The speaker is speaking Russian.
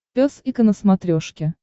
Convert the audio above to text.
пес и ко на смотрешке